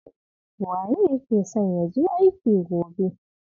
Waye yake son ya je aiki gobe?